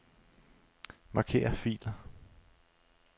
Marker filer.